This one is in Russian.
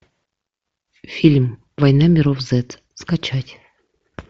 фильм война миров зед скачать